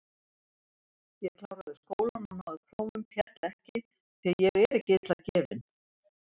Ég kláraði skólann og náði prófum, féll ekki, því ég er ekki illa gefinn.